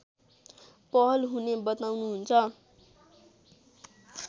पहल हुने बताउनुहुन्छ